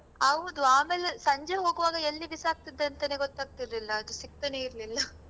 ಹೌದು ಆಮೇಲೆ ಸಂಜೆ ಹೋಗ್ವಾಗ ಎಲ್ಲಿ ಬಿಸಾಕ್ತಿದ್ದೆ ಅಂತನೇ ಗೊತ್ತಾಗತಿರ್ಲಿಲ್ಲ ಅದು ಸಿಕ್ತಾನೆ ಇರ್ಲಿಲ್ಲ